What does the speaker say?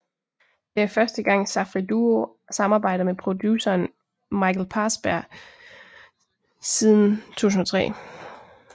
Det er første gang Safri Duo samarbejder med produceren Michael Parsberg siden 2003